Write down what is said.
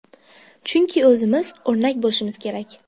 Chunki o‘zimiz o‘rnak bo‘lishimiz kerak.